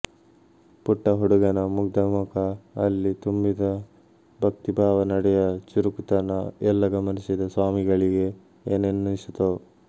ಪುಟ್ಟ ಹುಡುಗನ ಮುಗ್ಧ ಮುಖ ಅಲ್ಲಿ ತುಂಬಿದ ಭಕ್ತಿ ಭಾವ ನಡೆಯ ಚುರುಕುತನ ಎಲ್ಲ ಗಮನಿಸಿದ ಸ್ವಾಮಿಗಳಿಗೆ ಏನನ್ನಿಸಿತೋ